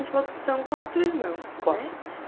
Você falou que vocês são quatro irmãos, né?